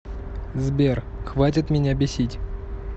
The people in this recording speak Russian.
сбер хватит меня бесить